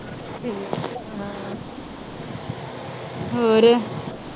ਹੋਰ।